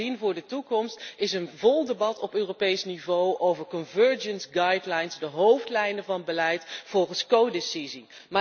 Wat wij voorzien voor de toekomst is een écht debat op Europees niveau over convergence guidelines de hoofdlijnen van beleid volgens codecisie.